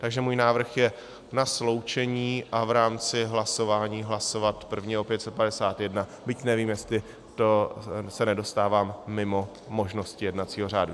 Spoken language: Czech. Takže můj návrh je na sloučení a v rámci hlasování hlasovat první o 551, byť nevím, jestli se tím nedostávám mimo možnosti jednacího řádu.